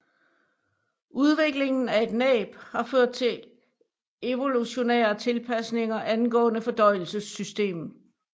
Udviklingen af et næb har ført til evolutionære tilpasninger angående fordøjelsessystemet